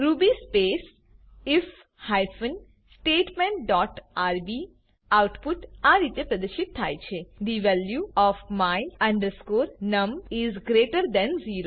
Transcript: Ruby space if hyphen statement dot rb output આ રીતે પ્રદશિત થાય છે the value of my num is greater than 0